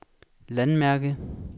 landmærke